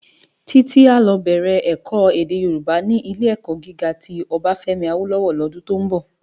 Titi á lò bèrè èkò èdè Yorúbá ni Ilé-èkò gigá ti Obafemi Awolowo lòdún tó nbò